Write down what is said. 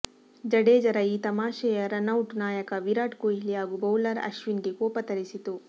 ಜಡೇಜರ ಈ ತಮಾಷೆಯ ರನೌಟ್ ನಾಯಕ ವಿರಾಟ್ ಕೊಹ್ಲಿ ಹಾಗೂ ಬೌಲರ್ ಅಶ್ವಿನ್ಗೆ ಕೋಪ ತರಿಸಿತು